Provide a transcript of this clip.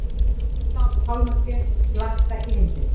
Græn pálmatrén blakta í vindinum.